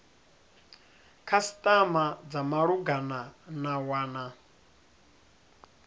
khasitama dza malugana na wana